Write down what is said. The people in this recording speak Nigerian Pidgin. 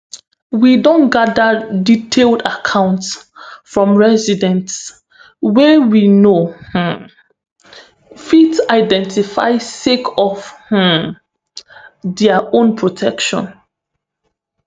we don gada detailed accounts from residents wey we no um fit identify sake of um dia own protection